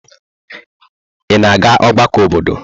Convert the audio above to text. Ị na-aga ọgbakọ obodo?